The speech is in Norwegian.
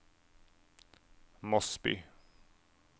Mosby